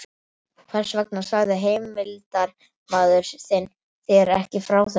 Hvers vegna sagði heimildarmaður þinn þér ekki frá þessu?